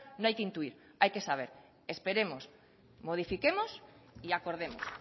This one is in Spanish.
no hay que intuir hay que saber esperemos modifiquemos y acordemos